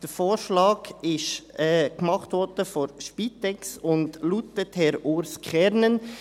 Die Spitex hat den Vorschlag gemacht und er lautet Herr Urs Kernen.